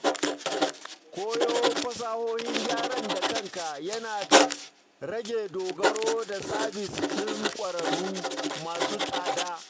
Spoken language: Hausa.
Koyo fasahohin gyaran da kanka yana rage dogaro da sabis ɗin ƙwararru masu tsada.